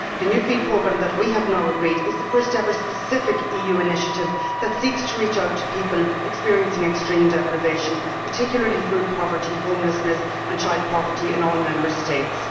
The new FEAD Programme that we have now agreed is the first ever specific EU initiative which seeks to reach out to people experiencing extreme deprivation, and particularly food poverty, homelessness and child poverty in all Member States.